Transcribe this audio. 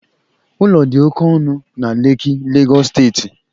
Ụlọ dị oke ọnụ na Lekki, Lagos steeti